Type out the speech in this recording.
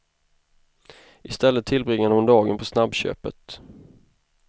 I stället tillbringade hon dagen på snabbköpet.